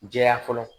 Jɛya fɔlɔ